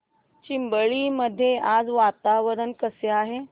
चिंबळी मध्ये आज वातावरण कसे आहे